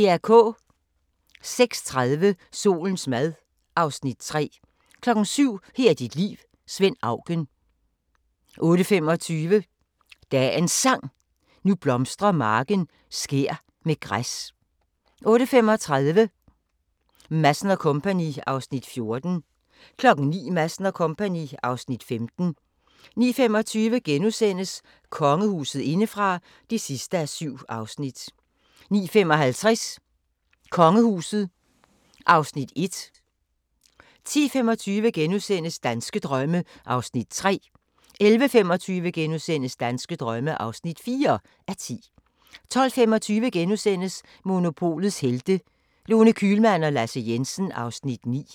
06:30: Solens mad (Afs. 3) 07:00: Her er dit liv – Svend Auken 08:25: Dagens Sang: Nu blomstrer marken skær med græs 08:35: Madsen & Co. (Afs. 14) 09:00: Madsen & Co. (Afs. 15) 09:25: Kongehuset indefra (7:7)* 09:55: Kongehuset (Afs. 1) 10:25: Danske drømme (3:10)* 11:25: Danske drømme (4:10)* 12:25: Monopolets Helte – Lone Kühlmann og Lasse Jensen (Afs. 9)*